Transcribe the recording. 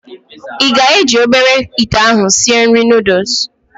Ị ga-eji obere ite ahụ sịe nri noodụs